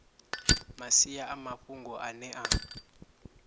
masia a mafhungo ane a